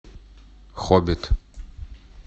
хоббит